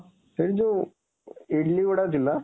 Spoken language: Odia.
ସେଇଠି ଯୋଉ ଇଡଲିଗୁଡ଼ାକ ଥିଲା